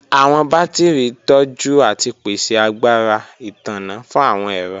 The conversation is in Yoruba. Awọn batiri tọju ati pese agbara itanna fun awọn ẹrọ.